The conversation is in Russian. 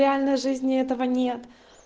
реальной жизни этого нет